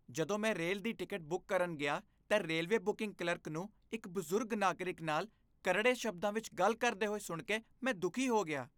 ਜਦੋਂ ਮੈਂ ਰੇਲ ਦੀ ਟਿਕਟ ਬੁੱਕ ਕਰਨ ਗਿਆ ਤਾਂ ਰੇਲਵੇ ਬੁਕਿੰਗ ਕਲਰਕ ਨੂੰ ਇੱਕ ਬਜ਼ੁਰਗ ਨਾਗਰਿਕ ਨਾਲ ਕਰੜੇ ਸ਼ਬਦਾਂ ਵਿੱਚ ਗੱਲ ਕਰਦੇ ਸੁਣ ਕੇ ਮੈਂ ਦੁਖੀ ਹੋ ਗਿਆ।